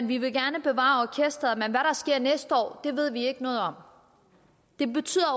vi vil gerne bevare orkesteret men hvad der sker næste år ved vi ikke noget om det betyder